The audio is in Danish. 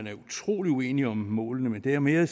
er utrolig uenige om målene det er mere